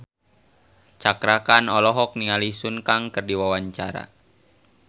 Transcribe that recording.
Cakra Khan olohok ningali Sun Kang keur diwawancara